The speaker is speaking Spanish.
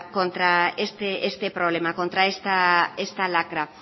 contra este problema contra esta lacra